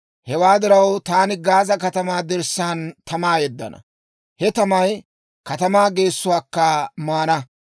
Hewaa diraw, taani Gaaza katamaa dirssaan tamaa yeddana; he tamay katamaa geessuwaakka maana.